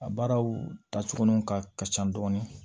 A baaraw ta cogo nunu ka ka ca dɔɔnin